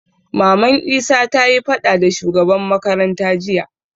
Maman isa tayi faɗa da shugaban makaranta jiya